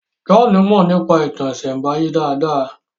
John Mo nípa ìtàn isembaye dá dá